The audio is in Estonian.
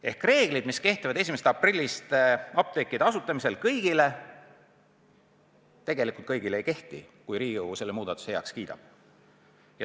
Teisisõnu, reeglid, mis peaksid 1. aprillist kehtima apteekide asutamisel kõigile, tegelikult kõigile ei kehti, kui Riigikogu selle muudatuse heaks kiidab.